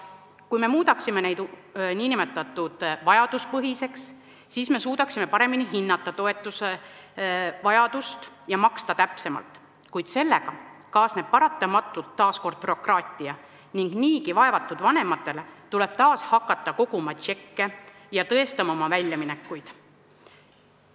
Kui me muudaksime toetuse vajaduspõhiseks, siis me suudaksime paremini hinnata selle vajadust ja maksta täpsemalt, kuid sellega kaasneb paratamatult taas bürokraatia ning niigi vaevatud vanematel tuleb jälle hakata koguma tšekke ja tõestama oma väljaminekuid.